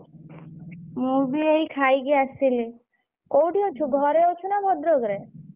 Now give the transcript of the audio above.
ମୁଁ ବି ଏଇ ଖାଇକି ଆସିଲି କୋଉଠି ଅଛୁ ଘରେ ଅଛୁ ନା ଭଦ୍ରକରେ?